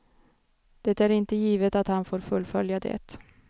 Det är inte givet att han får fullfölja det.